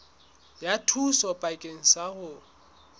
ya thuso bakeng sa ho